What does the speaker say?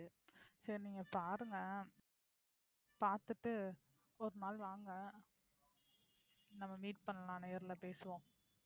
சரி நீங்க பாருங்க பாத்துட்டு ஒரு நாள் வாங்க நம்ம meet பண்ணலாம் நேர்ல பேசுவோம்.